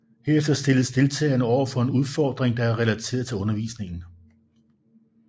Herefter stilles deltagerne over for en udfordring der er relateret til undervisningen